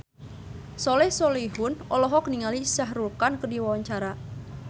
Soleh Solihun olohok ningali Shah Rukh Khan keur diwawancara